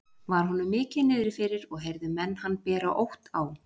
Var honum mikið niðri fyrir og heyrðu menn hann bera ótt á.